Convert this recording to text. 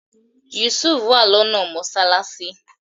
Yusuf wà lọ́nà mọ́sálásí